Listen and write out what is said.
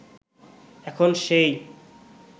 এখন সেই